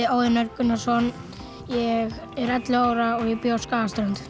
Óðinn Örn Gunnarsson ég er ellefu ára og ég bý á Skagaströnd